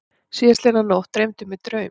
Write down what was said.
Síðastliðna nótt dreymdi mig draum.